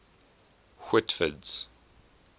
whitford's